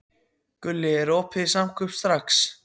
Gulli, er opið í Samkaup Strax?